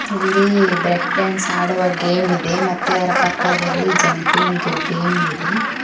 ಇಲ್ಲಿ break dance ಆಡುವ game ಇದೆ ಮತ್ತೆ ಅದರ ಪಕ್ಕದಲ್ಲಿ ಜಂಪಿಂಗ್ ಗೇಮ್ ಇದೆ.